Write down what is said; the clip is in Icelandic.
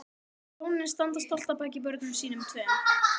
Hjónin standa stolt að baki börnum sínum tveim